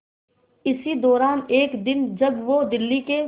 इसी दौरान एक दिन जब वो दिल्ली के